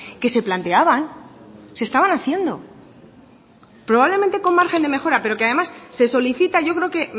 que se planteaban se estaban haciendo probablemente con margen de mejora pero que además se solicita yo creo que